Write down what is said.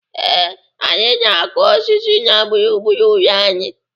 Ee, anyị na-akụ osisi na gburugburu ụlọ anyị.